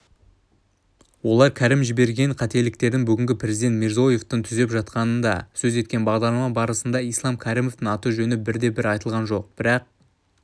олар кәрім жіберген қателіктерді бүгінгі президент мирзияевтің түзеп жатқанын да сөз еткен бағдарлама барысында ислам кәрімовтің аты-жөні бірде-бір айтылған жоқ бірақ